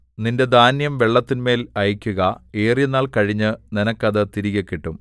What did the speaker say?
നിന്റെ ധാന്യം വെള്ളത്തിന്മേൽ അയക്കുക ഏറിയനാൾ കഴിഞ്ഞ് നിനക്ക് അത് തിരികെ കിട്ടും